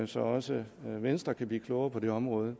så også venstre kan blive klogere på det område